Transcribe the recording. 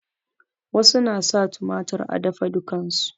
Wasu na sa tumatir a dafadukan su